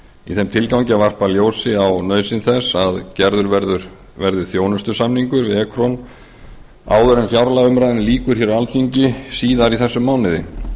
í þeim tilgangi að varpa ljósi á nauðsyn þess að gerður verði þjónustusamningur við ekron áður en fjárlagaumræðunni lýkur hér á alþingi síðar í þessum mánuði